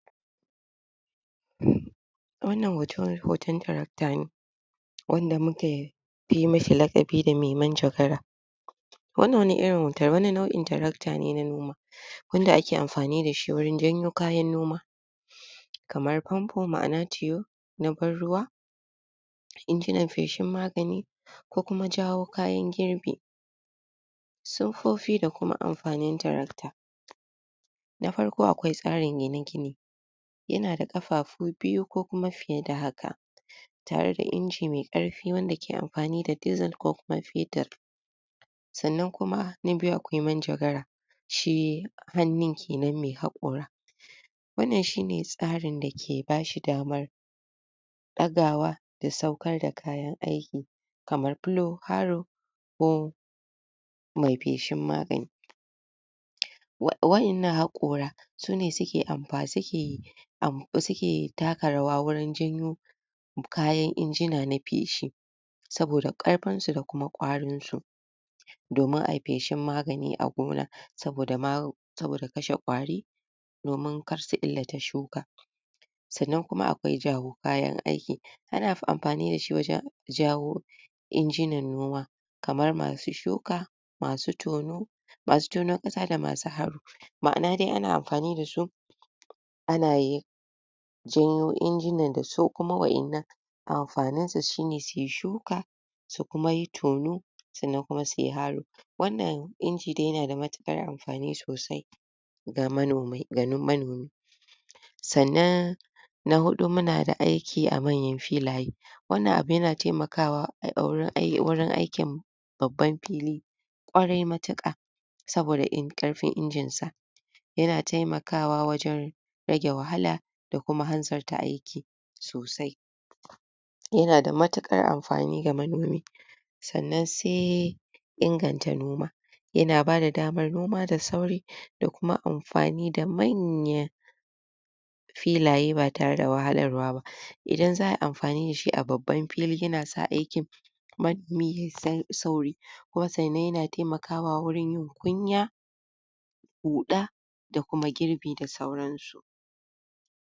Wannan hotor hoton tarakta ne; wanda mu ke yi mishi laƙabi da mai manjagara. wannan? wani nauʼin tarakta ne na noma, wanda ake amfani dashi wurin janyo kayan noma, kamar famfo, maʼana tiyo na ban ruwa, injinan feshin magani, ko kuma jawo kayan girbi. Siffofi da kuma amfanin tarakta: na farko akwai tsarin gine-gine, yana ƙafafu biyu ko kuma fiye da haka, tare da inji mai ƙarfi wanda ke amfani da dizel ko kuma fetur. sannan kuma; na biyu akwai manjagara, shi hannun kenan mai haƙora: wannan shine tsarin da ke bashi damar dagawa, da saukar da kayan aiki, kamar fulo, haro, ko mai feshin magani. Waʼinna haƙora, sune?? taka rawa wurin janyo kayan injina na feshi, saboda ƙarfin su da kuma ƙwarin su, domin ayi feshin magani a gona,? saboda? kashe ƙwari, domin kar su illata shuka. Sannan kuma akwai jawo kayan aikin: ana amfani dashi wajen jawo injinan noma, kamar masu shuka, masu tono, masu tona ƙasa? maʼana dai ana amfani d,a su a na janyo injinan da su, kuma wa'innan amfanin su shine suyi shuka, su kuma yi tono, sannan kuma suyi haro. Wannan inji dai yana da matuƙar amfani sosai? ga manomi. Sannan na huɗu muna da aiki a manyan filaye: wannan abu yana taimakawa? wurin aikin babban fili ƙwarai matuƙa, saboda? ƙarfin injin sa. Yana taimakawa wajen rage wahala, da kuma hanzarta aiki sosai, yana da matuƙar amfani ga manomi. Sannan sai inganta noma; yana bada damar noma da sauri, da kuma amfani da manyan filaye ba tare da wahalarwa ba, idan za ayi amfani dashi a babban fili yana sa aikin? sauri. Kuma sannan yana taimakawa wajen yin kuyya, huɗa, da kuma girbi da sauransu.